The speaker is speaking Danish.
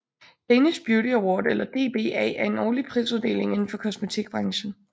Danish Beauty Award eller DBA er en årlig prisuddeling indenfor kosmetikbranchen